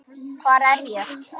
HVAR ER ÉG?